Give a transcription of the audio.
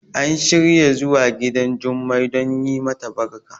an shirya zuwa gidan Jummai don yi mata barka